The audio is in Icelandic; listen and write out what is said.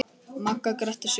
Magga gretti sig.